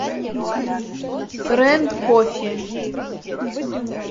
фрэнд кофе